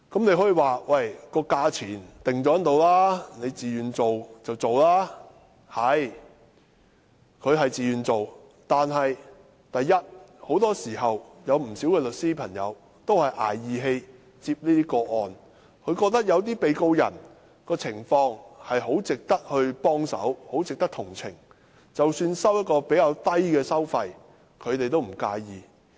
的確，他們是自願參與，但很多時候，不少律師都是"捱義氣"接這些個案。他們認為有些被告人的情況很值得幫忙和同情，所以即使收取的工資較低，他們也不介意。